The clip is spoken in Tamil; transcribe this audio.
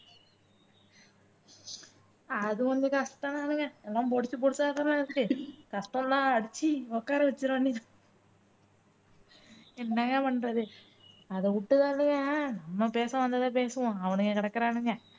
அது கொஞ்சம் கஷ்டம் தானுங்க எல்லாம் பொடுசு பொடுசா இருக்கதெல்லாம் வச்சுட்டு கஷ்டம் தான் அடிச்சி உக்கார வச்சிட வேண்டியது தான் என்னங்க பண்றது அதை விட்டு தள்ளுங்க நாம் பேச வந்ததை பேசுவோம் அவனுங்க கிடக்குறானுங்க